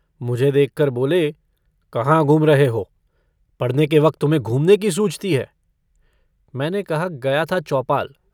मुझे देखकर बोले - कहाँ घूम रहे हो? पढ़ने के वक्त तुम्हें घूमने की सूझती है? मैंने कहा - गया था चौपाल।